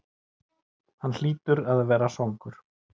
Hann hlýtur að vera svangur.